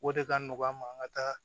O de ka nɔgɔn an ma an ka taa